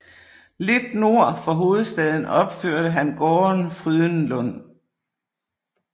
Lidt nord for hovedstaden opførte han gården Frydenlund